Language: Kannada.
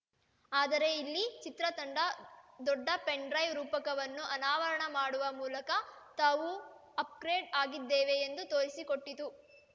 ಆದರೆ ಇಲ್ಲಿ ಚಿತ್ರತಂಡ ದೊಡ್ಡ ಪೆನ್‌ಡ್ರೈವ್‌ ರೂಪಕವನ್ನು ಅನಾವರಣ ಮಾಡುವ ಮೂಲಕ ತಾವು ಅಪ್‌ಗ್ರೇಡ್‌ ಆಗಿದ್ದೇವೆ ಎಂದು ತೋರಿಸಿಕೊಟ್ಟಿತು